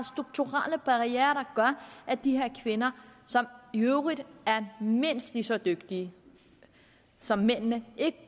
strukturelle barrierer der gør at de her kvinder som i øvrigt er mindst lige så dygtige som mændene ikke